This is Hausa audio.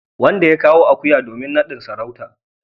wanda ya kawo akuya domin nadin sarauta.